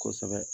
Kosɛbɛ